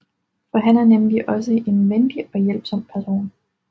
For han er nemlig også en venlig og hjælpsom person